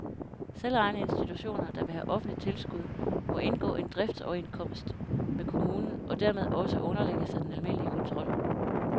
Selvejende institutioner, der vil have offentligt tilskud, må indgå en driftsoverenskomst med kommunen og dermed også underlægge sig den almindelige kontrol.